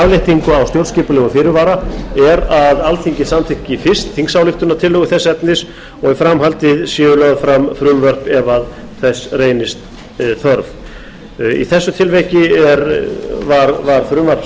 afléttingu á stjórnskipulegum fyrirvara er að alþingi samþykki fyrst þingsályktunartillögu þess efnis og í framhaldi séu lögð fram frumvörp ef þess reynist þörf í þessu tilviki var frumvarp